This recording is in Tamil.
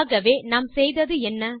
ஆகவே நாம் செய்தது என்ன